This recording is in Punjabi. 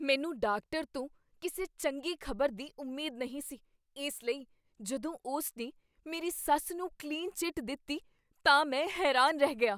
ਮੈਨੂੰ ਡਾਕਟਰ ਤੋਂ ਕਿਸੇ ਚੰਗੀ ਖ਼ਬਰ ਦੀ ਉਮੀਦ ਨਹੀਂ ਸੀ, ਇਸ ਲਈ ਜਦੋਂ ਉਸਨੇ ਮੇਰੀ ਸੱਸ ਨੂੰ ਕਲੀਨ ਚਿੱਟ ਦਿੱਤੀ ਤਾਂ ਮੈਂ ਹੈਰਾਨ ਰਹਿ ਗਿਆ।